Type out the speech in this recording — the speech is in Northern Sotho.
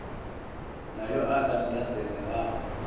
na yo a ka ntatelelago